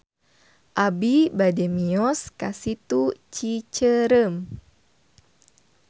Abi bade mios ka Situ Cicerem